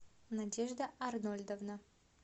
надежда арнольдовна